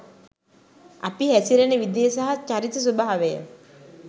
අපි හැසිරෙන විදිය සහ චරිත ස්වභාවය